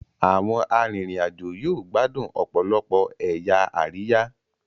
Àwọn arinrin-ajo yóò gbádùn òpòlopò ẹyà Àríyá